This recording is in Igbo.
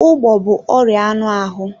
Ugbo bụ ọrịa anụ ahụ.